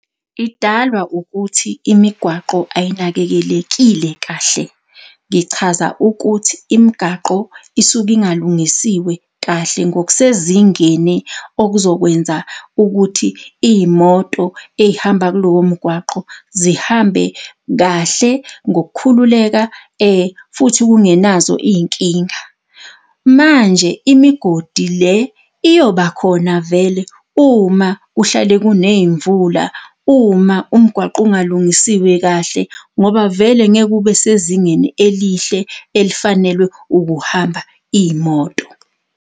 Idalwa ukuthi imigwaqo ayinakekelekile kahle. Ngichaza ukuthi imigaqo isuke ingalungisiwe kahle, ngokusezingeni okuzokwenza ukuthi iy'moto ey'hamba kulowo mgwaqo zihambe kahle ngokukhululeka futhi kungenazo iy'nkinga. Manje imigodi le iyobakhona vele, uma kuhlale kuney'mvula, uma umgwaqo ungalungisiwe kahle, ngoba vele ngeke ube sezingeni elihle elifanelwe ukuhamba iy'moto.